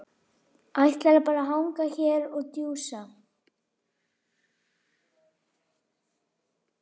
Ætlarðu bara að hanga hér og djúsa?